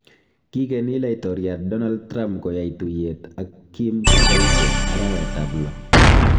Kigeni laitoryat Donald Trump koyai tuiyet ak Kim koite arawet ab lo